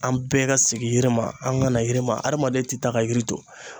An bɛɛ ka segin yiri ma, an ka na yiri ma . Hadamaden te taa ka yiri to.